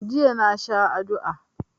Jiya na sha adua.